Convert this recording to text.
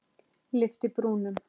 Lyfti brúnum.